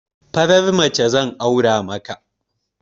Farar mace zan aura maka